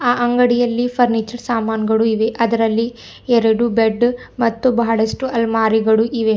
ಆ ಅಂಗಡಿಯಲ್ಲಿ ಫರ್ನಿಚರ್ ಸಾಮಾನುಗಳು ಇವೆ ಅದರಲ್ಲಿ ಎರಡು ಬೆಡ್ ಮತ್ತು ಬಹಳಷ್ಟು ಅಲಮಾರಿಗಳು ಇವೆ.